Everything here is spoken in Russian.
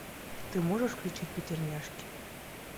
ты можешь включить пятерняшки